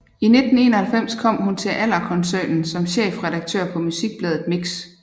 I 1991 kom hun til Allerkoncernen som chefredaktør på musikbladet Mix